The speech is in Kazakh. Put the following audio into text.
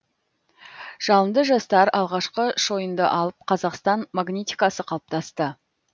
жалынды жастар алғашқы шойынды алып қазақстан магнитикасы қалыптасты